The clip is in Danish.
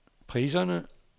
priserne